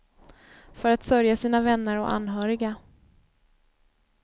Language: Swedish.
För att sörja sina vänner och anhöriga.